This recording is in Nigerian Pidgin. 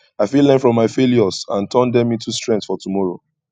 i fit learn from my failures and turn dem into strength for tomorrow